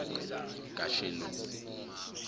kashelomi